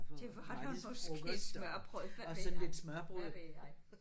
Det var der måske smørrebrød hvad ved jeg hvad ved jeg